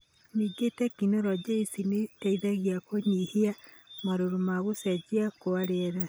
Ningĩ tekinoronjĩ ici nĩ iteithagia kũnyihia marũrũ ma gũcenjia kwa rĩera,